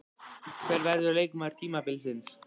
Hver verður leikmaður tímabilsins?